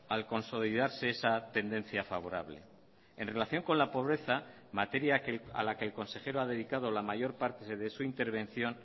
al consolidarse esa tendencia favorable en relación con la pobreza materia a la que el consejero ha dedicado la mayor parte de su intervención